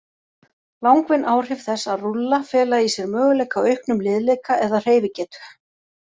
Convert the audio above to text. Langvinn áhrif þess að rúlla fela í sér möguleika á auknum liðleika eða hreyfigetu.